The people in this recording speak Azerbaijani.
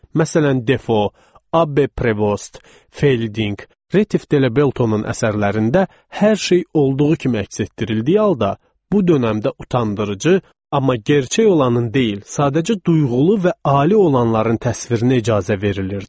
Məsələn Defo, Abbe Prevost, Fielding, Retif De La Bretonun əsərlərində hər şey olduğu kimi əks etdirildiyi halda, bu dönəmdə utandırıcı, amma gerçək olanın deyil, sadəcə duyğulu və ali olanların təsvirinə icazə verilirdi.